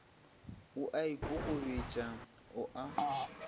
o a ikokobetša o a